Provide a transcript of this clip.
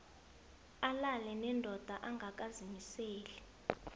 alale nendoda angakazimiseli